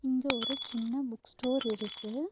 இங்க ஒரு சின்ன புக் ஸ்டோர் இருக்கு.